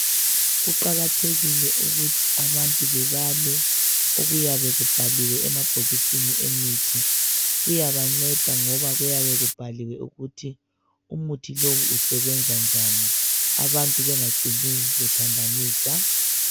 Kuqakathekile ukuthi abantu bebale okuyabe kubhaliwe emabhokisini emithi. Kuyabanceda ngoba kuyabe kubhaliwe ukuthi umuthi lo usebenza njani abantu bengacini bephambanisa.